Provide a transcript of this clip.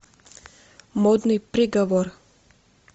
модный приговор